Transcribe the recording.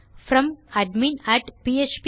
Fromadminphpacademycom